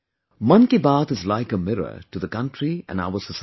'Mann Ki Baat'is like a mirror to the country & our society